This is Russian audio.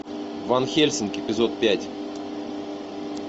ванхельсинг эпизод пять